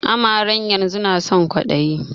Amaren yanzun nason kwaliya